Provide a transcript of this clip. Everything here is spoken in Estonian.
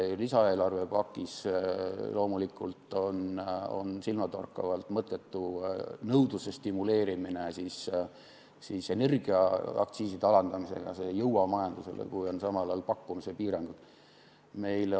Lisaeelarve pakis on loomulikult silmatorkavalt mõttetu nõudluse stimuleerimine energiaaktsiiside alandamisega, see ei jõua majandusse, kui samal ajal on pakkumise piirangud.